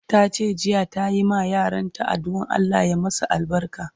Tace jiya ta yi ma yaran ta adduan Allah ya masu albarka